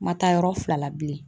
Ma taa yɔrɔ fila la bilen.